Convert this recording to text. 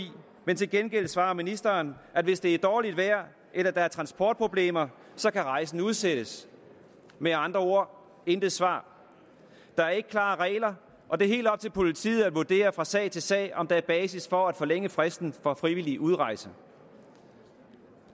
men til gengæld svarer ministeren at hvis det er dårligt vejr eller der er transportproblemer så kan rejsen udsættes med andre ord intet svar der er ikke klare regler og det er helt op til politiet at vurdere fra sag til sag om der er basis for at forlænge fristen for frivillig udrejse